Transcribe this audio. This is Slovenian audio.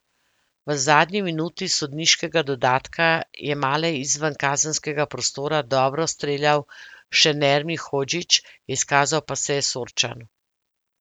V zadnji minuti sodniškega dodatka je male izven kazenskega prostora dobro streljal še Nermin Hodžić, izkazal pa se je Sorčan.